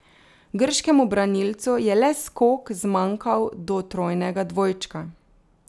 Grškemu branilcu je le skok zmanjkal do trojnega dvojčka.